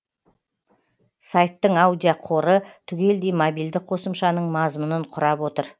сайттың аудиоқоры түгелдей мобильді қосымшаның мазмұнын құрап отыр